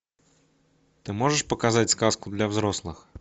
ты можешь показать сказку для взрослых